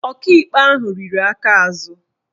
Ọkaikpe ahụ riri aka azụ